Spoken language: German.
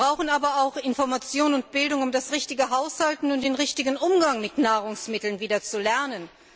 Wir brauchen aber auch Information und Bildung, um das richtige Haushalten und den richtigen Umgang mit Nahrungsmitteln wieder zu lernen.